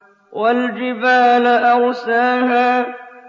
وَالْجِبَالَ أَرْسَاهَا